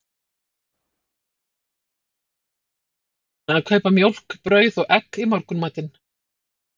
Hann var sendur niður í matvörubúðina að kaupa mjólk, brauð og egg í morgunmatinn.